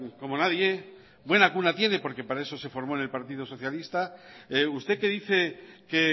como nadie buena cuna tiene porque para eso se formo en el partido socialista usted que dice que